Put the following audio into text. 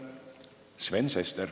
Sven Sester.